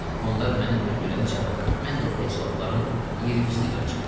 Onlar məni öldürəncə, mən də o əclaf-ların iyirmisini qıracam.